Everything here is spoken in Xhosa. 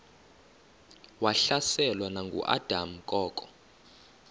wahlaselwa nanguadam kok